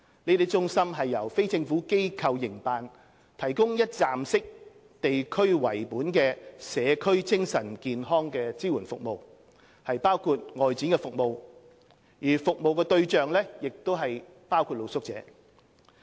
這些中心由非政府機構營辦，提供一站式、地區為本的社區精神健康支援服務，包括外展服務，服務對象包括露宿者。